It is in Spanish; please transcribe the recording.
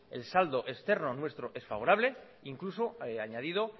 el saldo externo nuestro es favorable incluso añadido